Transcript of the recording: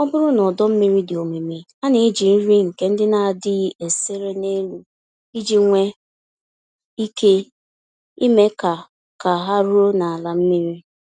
Ọbụrụ na ọdọ-mmiri dị omimi, a neji nri ndị nke n'adịghị esere n'elu iji nwe ike ime ka ka ha ruo n'ala mmiri.